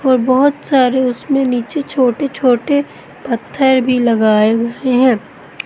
और बहोत सारे उसमें नीचे छोटे छोटे पत्थर भी लगाए गए हैं।